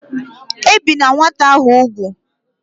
Ebina nwata ahu ugwu!